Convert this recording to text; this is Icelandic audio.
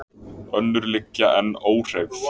Önnur liggja enn óhreyfð.